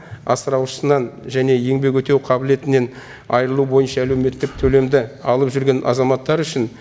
асыраушысынан және еңбек өтеу қабілетінен айырылуы бойынша әлеуметтік төлемді алып жүрген азаматтар үшін